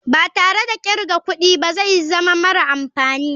Ba tare da kirga kudi ba zai zama mara amfani.